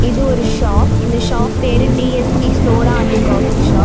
இது ஒரு ஷாப் இந்த ஷாப் பேரு T S P soda and coffee shop .